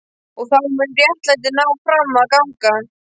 Og þá mun réttlætið ná fram að ganga.